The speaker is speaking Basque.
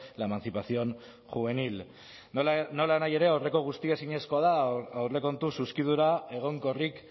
la emancipación juvenil nolanahi ere aurreko guztia ezinezkoa da aurrekontu zuzkidura egonkorrik